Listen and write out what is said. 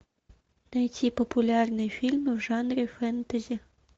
найти популярные фильмы в жанре фэнтези